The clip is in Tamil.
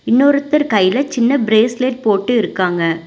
இன்னொருத்தர் கைல சின்ன பிரேஸ்லெட் போட்டு இருக்காங்க.